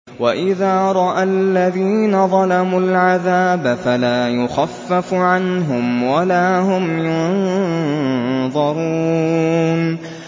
وَإِذَا رَأَى الَّذِينَ ظَلَمُوا الْعَذَابَ فَلَا يُخَفَّفُ عَنْهُمْ وَلَا هُمْ يُنظَرُونَ